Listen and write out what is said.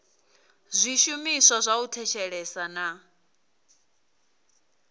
zwishumiswa zwa u thetshelesa na